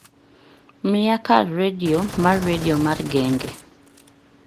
mia kar redio mar redio mar genge